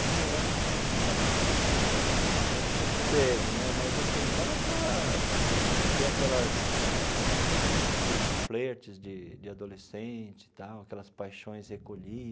Namorar, nessa época, era eu era um pouco era um pouco cedo né, mas assim dava para ter aquelas eh aquelas aqueles flertes de de adolescente tal, aquelas paixões recolhidas.